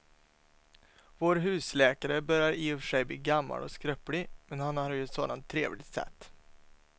Vår husläkare börjar i och för sig bli gammal och skröplig, men han har ju ett sådant trevligt sätt!